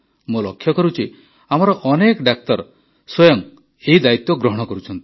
ମୁଁ ଲକ୍ଷ୍ୟ କରୁଛି ଆମର ଅନେକ ଡାକ୍ତର ସ୍ୱୟଂ ଏହି ଦାୟିତ୍ୱ ଗ୍ରହଣ କରୁଛନ୍ତି